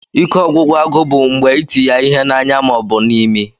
Ike ọgwụgwụ agu bu mgbe iti ya ihe na anya maọbụ na imi.